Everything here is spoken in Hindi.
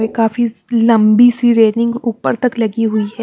वे काफी लंबी सी रेलिंग ऊपर तक लगी हुई है।